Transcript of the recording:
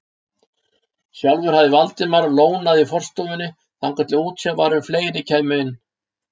Sjálfur hafði Valdimar lónað í forstofunni þangað til útséð var um að fleiri kæmu inn.